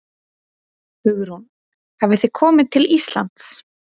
Hugrún: Hafið þið komi til Íslands?